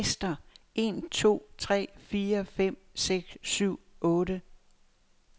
Tester en to tre fire fem seks syv otte.